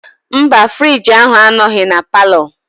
Mba frigi ahụ anọghị na palọ.